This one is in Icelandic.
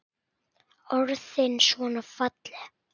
Orðin svona falleg.